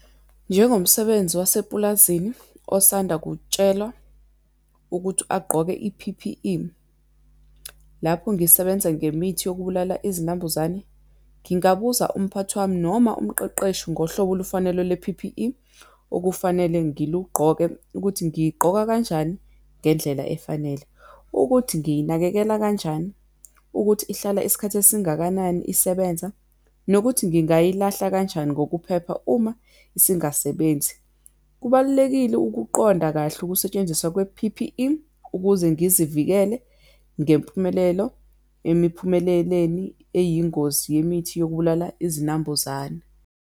Njengomsebenzi wasepulazini osanda kutshelwa ukuthi agqoke i-P_P_E, lapho ngisebenza ngemithi yokubulala izinambuzane. Ngingabuza umphathi wami noma umqeqeshi ngohlobo olufanele le-P_P_E okufanele ngilugqoke, ukuthi ngiyigqoka kanjani ngendlela efanele, ukuthi ngiyinakekele kanjani, ukuthi ihlala isikhathi esingakanani isebenza, nokuthi ngingayilahla kanjani ngokuphepha uma isingasebenzi. Kubalulekile ukuqonda kahle ukusetshenziswa kwe-P_P_E, ukuze ngizivikele ngempumelelo emiphumeleleni eyingozi yemithi yokubulala izinambuzane.